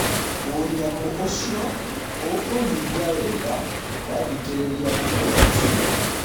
ũnyamũũcio ũkũuigua wega wathĩkĩrĩria mũkwa ũcio.